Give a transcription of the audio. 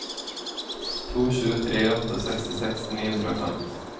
to sju tre åtte sekstiseks ni hundre og fem